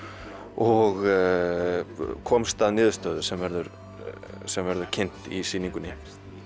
og komst að niðurstöðu sem verður sem verður kynnt í sýningunni